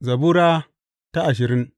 Zabura Sura ashirin